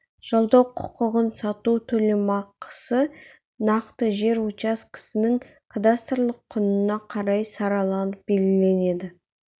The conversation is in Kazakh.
жалдау құқығын сату төлемақысы нақты жер учаскесінің кадастрлық құнына қарай сараланып белгіленеді